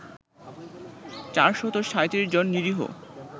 ৪৩৭ জন নিরীহ